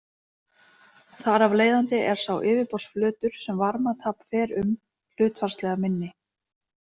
Þar af leiðandi er sá yfirborðsflötur sem varmatap fer um hlutfallslega minni.